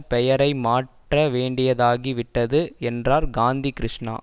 பெயரை மாற்ற வேண்டியதாகி விட்டது என்றார் காந்தி கிருஷ்ணா